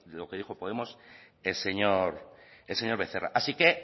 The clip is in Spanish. lo que dijo podemos el señor el señor becerra así que